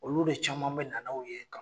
Olu de caman bɛ na aw ye gan